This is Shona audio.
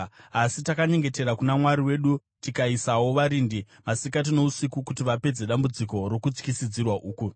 Asi takanyengetera kuna Mwari wedu tikaisawo varindi masikati nousiku kuti vapedze dambudziko rokutyisidzira uku.